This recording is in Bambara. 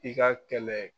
I ka kɛlɛ